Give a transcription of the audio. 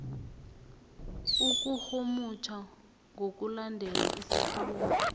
ukurhumutjha ngokulandela isikhulumi